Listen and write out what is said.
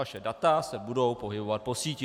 Vaše data se budou pohybovat po síti.